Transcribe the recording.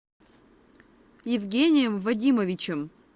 евгением вадимовичем